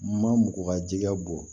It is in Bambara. Ma mɔgɔ ka jika bɔ